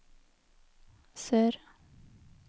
sør